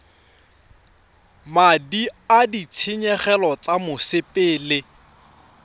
madi a ditshenyegelo tsa mosepele